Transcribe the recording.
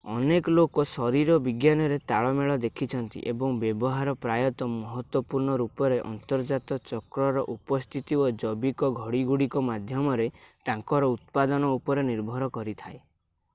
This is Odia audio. ଅନେକ ଲୋକ ଶରୀର ବିଜ୍ଞାନରେ ତାଳମେଳ ଦେଖିଛନ୍ତି ଏବଂ ବ୍ୟବହାର ପ୍ରାୟତଃ ମହତ୍ତ୍ଵପୂର୍ଣ୍ଣ ରୂପରେ ଅନ୍ତର୍ଜାତ ଚକ୍ରର ଉପସ୍ଥିତି ଓ ଜୈବିକ ଘଡ଼ି ଗୁଡ଼ିକ ମାଧ୍ୟମରେ ତାଙ୍କର ଉତ୍ପାଦନ ଉପରେ ନିର୍ଭର କରିଥାଏ